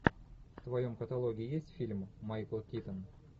в твоем каталоге есть фильм майкл китон